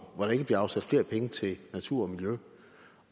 hvor der ikke bliver afsat flere penge til natur